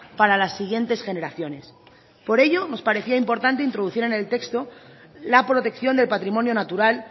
para las siguientes generaciones por ello nos parecía importante introducir en el texto la protección del patrimonio natural